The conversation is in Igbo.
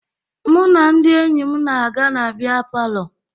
Mụ na ndị enyi m na-aga na bịa palọ